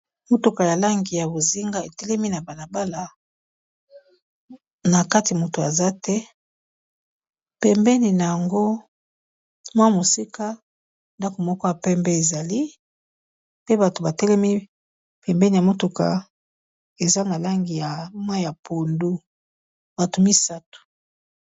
Motuka ya langi ya bozinga etelemi na bala bala na kati moto aza te, pembeni nango mwa mosika ndako moko ya pembe ezali pe bato ba telemi pembeni ya motuka eza na langi ya mayi ya pondu bato misato.